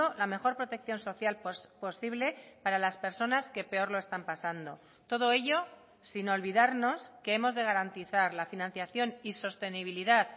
la mejor protección social posible para las personas que peor lo están pasando todo ello sin olvidarnos que hemos de garantizar la financiación y sostenibilidad